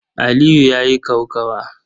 Aliyu ya yi kokawa.